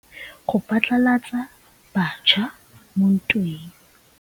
Lepodisa le dirisitse mosifa wa gagwe go phatlalatsa batšha mo ntweng.